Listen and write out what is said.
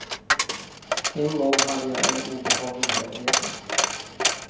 En gång hade jag en obehaglig hemresa.